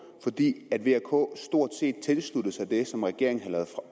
fordi v og k stort set tilsluttede sig det som regeringen